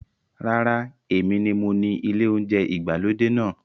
Rárá, èmi ni mo ni ilé oúnjẹ ìgbàlódé náà.